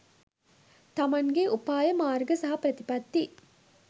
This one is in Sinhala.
තමන්ගේ උපාය මාර්ග සහ ප්‍රතිපත්ති